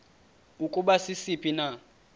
ukuba sisiphi na